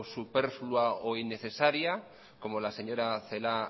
superflua o innecesaria como la señora celaá